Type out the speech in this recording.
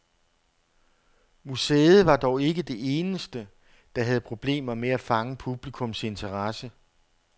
Museet var dog ikke det eneste, der havde problemer med at fange publikums interesse.